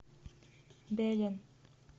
белен